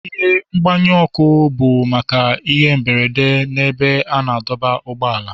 Ihe mgbanyụ ọkụ bụ maka ihe mberede n'ebe a na-adọba ụgbọala.